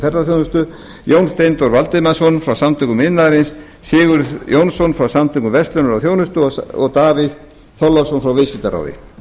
ferðaþjónustunnar jón steindór valdimarsson frá samtökum iðnaðarins sigurð jónsson frá samtökum verslunar og þjónustu og davíð þorláksson frá viðskiptaráði